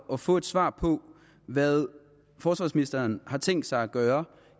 at få svar på hvad forsvarsministeren har tænkt sig at gøre